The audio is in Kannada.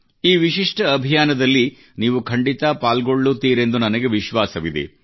ಈ ವಿಶಿಷ್ಟ ಅಭಿಯಾನದಲ್ಲಿ ನೀವು ಖಂಡಿತ ಪಾಲ್ಗೊಳ್ಳುತ್ತೀರೆಂದು ನನಗೆ ವಿಶ್ವಾಸವಿದೆ